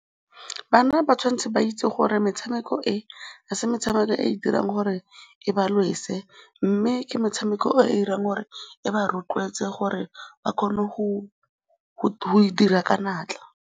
Bana ba tshwanetse ba itse gore metshameko e, ga se metshameko e e dirang gore e ba lwese mme ke metshameko e dirang gore e ba rotloetse gore ba kgone go dira ka natla.